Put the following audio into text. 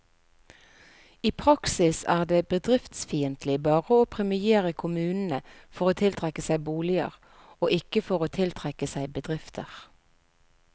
I praksis er det bedriftsfiendtlig bare å premiere kommunene for å tiltrekke seg boliger, og ikke for å tiltrekke seg bedrifter.